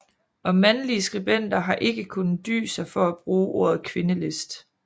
Og mandlige skribenter har ikke kunnet dy sig for at bruge ordet kvindelist